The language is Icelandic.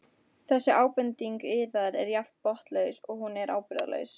Þessi ábending yðar er jafn botnlaus og hún er ábyrgðarlaus.